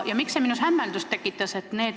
Ja miks see minus hämmeldust tekitas?